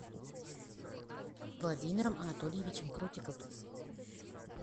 владимиром анатольевичем крутиковым